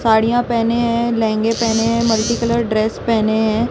साड़ियां पहने हैं लहंगे पहने हैं मल्टी कलर ड्रेस पहने हैं।